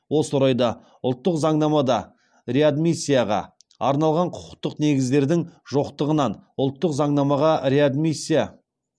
осы орайда ұлттық заңнамада реадмиссияға арналған құқықтық негіздердің жоқтығынан ұлттық заңнамаға реадмиссия